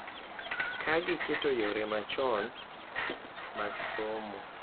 Ka giketo yore machon mag somo,